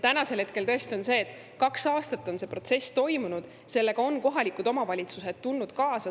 Tõesti, kaks aastat on see protsess toimunud, sellega on kohalikud omavalitsused kaasa tulnud.